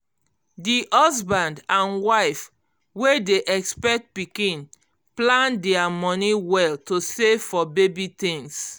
d husband and wife wey dey expect um pikin plan dia money well to save for baby things